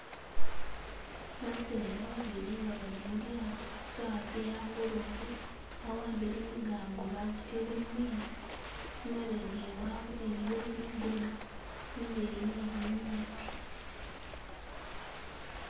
Baseza babili nga bali mulyaato sawa ze hangolobe bawambile migango bagitele mumezi imabega iwawe iliyo bigona bileyi ni binyipi.